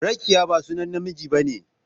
Rakiyya ba sunan namiji ba ne.